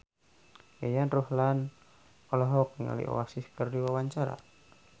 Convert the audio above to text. Yayan Ruhlan olohok ningali Oasis keur diwawancara